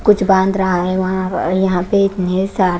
कुछ बांध रहा है वहां अ अ यहां पे मेरे साथ--